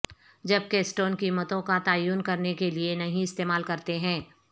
جب کیسٹون قیمتوں کا تعین کرنے کے لئے نہیں استعمال کرتے ہیں